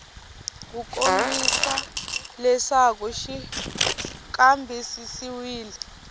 ku kombisa leswaku xi kambisisiwile